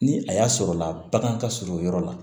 Ni a y'a sɔrɔla la bagan ka surun o yɔrɔ la